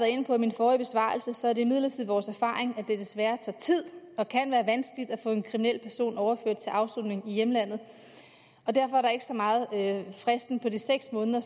inde på i min forrige besvarelse er det imidlertid vores erfaring at det desværre tager tid og kan være vanskeligt at få en kriminel person overført til afsoning i hjemlandet og derfor er det ikke så meget fristen på de seks måneder